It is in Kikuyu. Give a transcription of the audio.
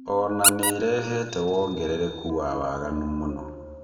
Ona nĩrehete wongerereku wa waganu mũno.